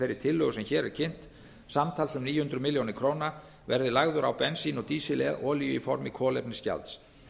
þeirri tillögu sem hér er kynnt samtals um níu hundruð milljónir verði lagður á bensín og síst lolíu í formi kolefnisgjalds